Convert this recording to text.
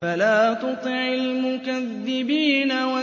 فَلَا تُطِعِ الْمُكَذِّبِينَ